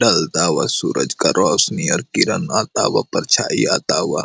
चलता हुआ सूरज का रौशनी और किरण आता हुआ परछाइयां आता हुआ --